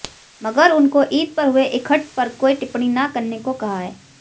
मगर उनको ईद पर हुए इकट्ठ पर कोई टिप्पणी न करने को कहा है